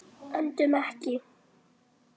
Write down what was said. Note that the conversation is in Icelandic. Öndum ekki.